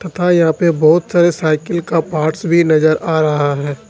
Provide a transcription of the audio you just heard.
तथा यहां पे बहुत सारे साइकिल का पार्ट्स भी नजर आ रहा है।